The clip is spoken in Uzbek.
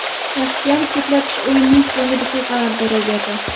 Yaxshiyam chetlatish o‘yinning so‘nggi daqiqalarida ro‘y berdi.